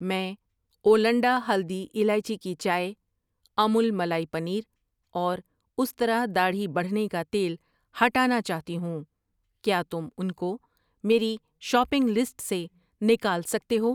میں اولنڈا ہلدی الائچی کی چائے ، امول ملائی پنیر اور استرا داڑھی بڑھنے کا تیل ہٹانا چاہتی ہوں، کیا تم ان کو میری شاپنگ لسٹ سے نکال سکتے ہو؟